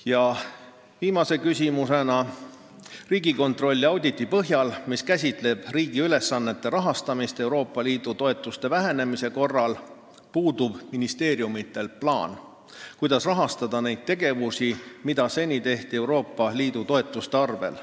" Ja viimane küsimus: "Riigikontrolli auditi põhjal, mis käsitleb riigi ülesannete rahastamist Euroopa Liidu toetuste vähenemise korral, puudub ministeeriumitel plaan, kuidas rahastada neid tegevusi, mida seni tehti EL-i toetuste arvelt.